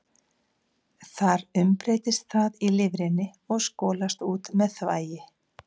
Þar umbreytist það í lifrinni og skolast út með þvagi.